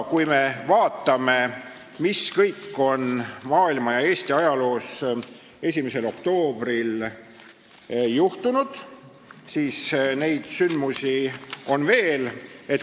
Kui me vaatame, mis kõik on maailma ja Eesti ajaloos 1. oktoobril juhtunud, siis näeme, et sündmusi on veel.